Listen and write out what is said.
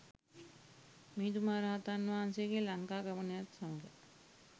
මිහිඳු මහ රහතන් වහන්සේගේ ලංකාගමනයත් සමග